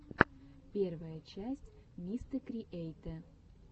первая часть мистэкриэйтэ